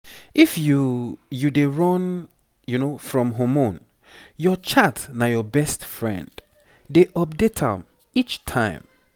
if you you dey run from hormone your chart na your best friend. dey update am each time